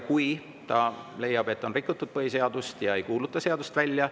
Kui president leiab, et on rikutud põhiseadust, siis ta ei kuuluta seadust välja.